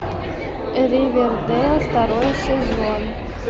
ривердэйл второй сезон